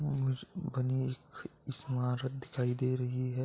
बनी एक स्मारत दिखाई दे रही है।